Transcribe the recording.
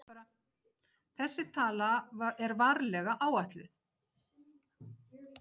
Þessi tala er varlega áætluð.